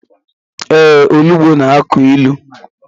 Ee, olugbo na-akụ ilu.